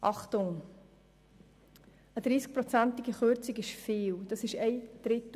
Aber eine 30-prozentige Kürzung des Grundbedarfs ist viel!